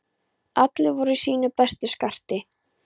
Allir voru í sínu besta skarti.